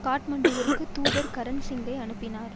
காட்மாண்டுவிற்கு தூதர் கரன் சிங்கை அனுப்பினார்